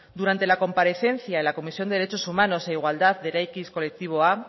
durante la comparecencia en la comisión de derechos humanos e igualdad de eraikiz kolektiboa